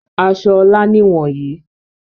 Aṣọ Ọlá nìwọ̀nyí.